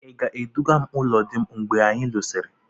Ị ga-eduga m ụlọ di m mgbe anyi lụsịrị?